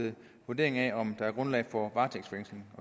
ved vurdering af om der er grundlag for varetægtsfængsling